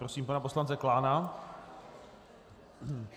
Prosím pana poslance Klána.